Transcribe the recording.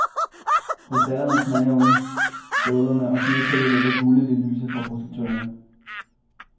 Krystallerne knager under støvlerne, og snetæppet ligger gulligt i lyset fra projektørerne.